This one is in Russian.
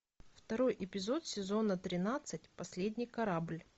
второй эпизод сезона тринадцать последний корабль